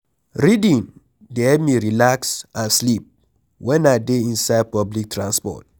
Reading dey help me relax and sleep wen I dey inside public transport.